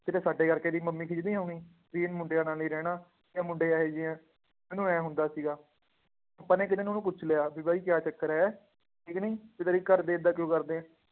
ਕਿਤੇ ਸਾਡੇ ਕਰਕੇ ਇਹਦੀ ਮੰਮੀ ਖਿਝਦੀ ਹੋਣੀ, ਵੀ ਇਹ ਮੁੰਡਿਆਂ ਨਾਲ ਹੀ ਰਹਿਣਾ, ਇਹ ਮੁੰਡੇ ਇਹ ਜਿਹੇ ਆ, ਮੈਨੂੰ ਇਉਂ ਹੁੰਦਾ ਸੀਗਾ, ਆਪਾਂ ਨੇ ਇੱਕ ਦਿਨ ਉਹਨੂੰ ਪੁੱਛ ਲਿਆ ਵੀ ਬਾਈ ਕਿਆ ਚੱਕਰ ਹੈ, ਠੀਕ ਨੀ, ਵੀ ਤੇਰੇ ਘਰਦੇ ਏਦਾਂ ਕਿਉਂ ਕਰਦੇ ਆ,